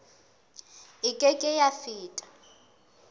e ke ke ya feta